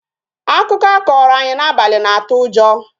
Akụkọ ọ kọrọ anyị n'abalị na-atụ ụjọ